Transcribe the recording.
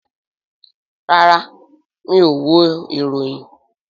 Rárá, mi ò wo ìròyìn